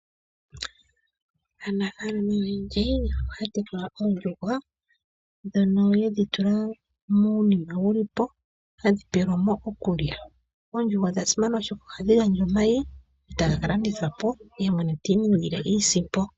Aanafalama oyendji ohaya tekula oondjuhwa dhono yedhi tula muunima wulipo hadhi pelwamo okulya. Oondjuhwa odha simana oshoka ohadhi gandja omayi ee taga kalandithwapo yemwene tiiningile iisimpo.